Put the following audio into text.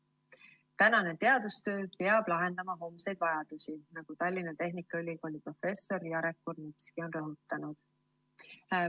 "Tänane teadustöö peab lahendama homseid vajadusi," nagu Tallinna Tehnikaülikooli professor Jarek Kurnitski on rõhutanud.